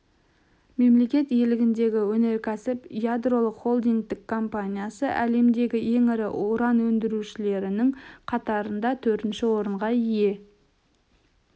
мемлекет иелігіндегі өнеркәсіп ядролық холдингтік компаниясы әлемдегі ең ірі уран өндірушілерінің қатарында төртінші орынға ие